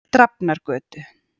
Drafnargötu